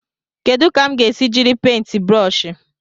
Kedu ka m ga-esi jiri paintị brụsh?